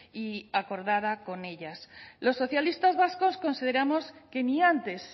y acordada con ellas los socialistas vascos consideramos que ni antes